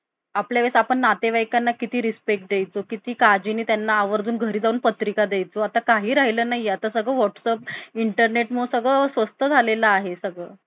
आपल्या आपण नातेवाईकांना किती respect द्यायचो? किती काळजीने त्यांना आवर्जून घरी जाऊन पत्रिका द्यायचो. आता काही राहिलं नाही. आता सगळं WhatsApp Internet मुळे सगळं स्वस्त झालेला आहे सगळं.